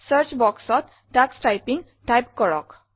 search boxত তোষ typing type কৰক